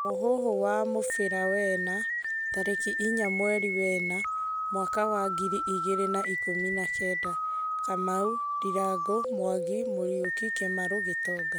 Muhũhũ wa mũbĩra wena tarĩkĩ inya mwerĩ wena mwaka wa ngĩrĩ ĩgĩrĩ na ĩkumi na Kenda: Kamau, ndirangũ, Mwangi, Muriuki, kimarũ Gitonga